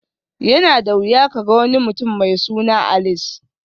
Yana da wuya ka ga wani mutum mai suna Alice